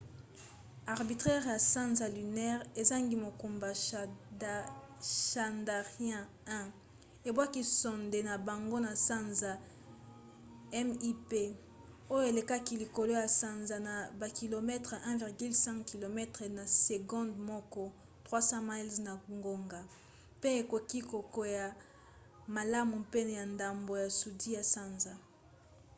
orbiteur ya sanza lunaire ezangi mokumba chandrayaan-1 ebwaki sonde na bango na sanza mip oyo elekaki likolo ya sanza na bakilometele 1,5 km na segonde moko 3000 miles na ngonga mpe ekoki kokwea malamu pene ya ndambo ya sudi ya sanza